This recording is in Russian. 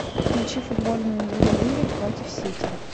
включи футбольную игру ливер против сити